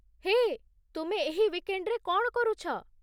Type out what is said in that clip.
ହେଏ, ତୁମେ ଏହି ଉଇକ୍‌ଣ୍ଡ୍‌ରେ କଣ କରୁଛ?